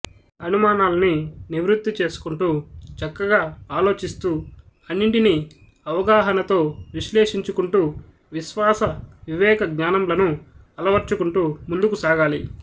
అనుమానాల్ని నివృత్తి చేసుకుంటూ చక్కగా ఆలోచిస్తూ అన్నింటినీ అవగాహనతో విశ్లేషించుకుంటూ విశ్వాస వివేక జ్ఞానంలను అలవర్చుకుంటూ ముందుకు సాగాలి